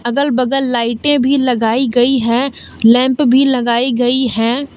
अगल बगल लाइटें भी लगाई गई है लैंप भी लगायी गई है।